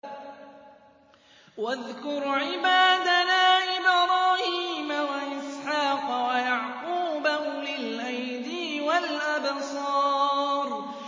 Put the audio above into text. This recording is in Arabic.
وَاذْكُرْ عِبَادَنَا إِبْرَاهِيمَ وَإِسْحَاقَ وَيَعْقُوبَ أُولِي الْأَيْدِي وَالْأَبْصَارِ